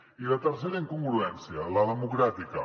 i la tercera incongruència la democràtica